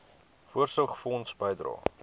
voorsorgfonds bydrae